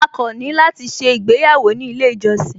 A kàn ní láti ṣé ìgbéyàwó ní ilé ìjọsìn